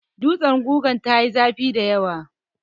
Dutsen gugar ta yi zafi dayawa.